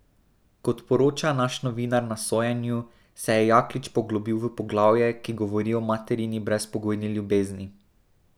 Kot poroča naš novinar na sojenju, se je Jaklič poglobil v poglavje, ki govori o materini brezpogojni ljubezni.